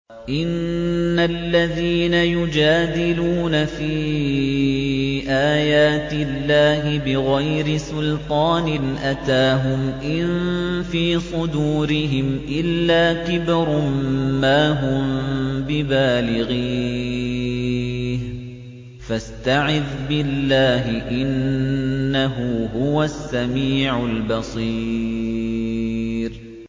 إِنَّ الَّذِينَ يُجَادِلُونَ فِي آيَاتِ اللَّهِ بِغَيْرِ سُلْطَانٍ أَتَاهُمْ ۙ إِن فِي صُدُورِهِمْ إِلَّا كِبْرٌ مَّا هُم بِبَالِغِيهِ ۚ فَاسْتَعِذْ بِاللَّهِ ۖ إِنَّهُ هُوَ السَّمِيعُ الْبَصِيرُ